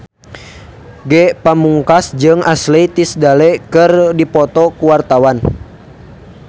Ge Pamungkas jeung Ashley Tisdale keur dipoto ku wartawan